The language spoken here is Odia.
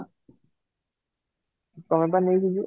ତୋମେ ପା ନେଇକି ଯିବ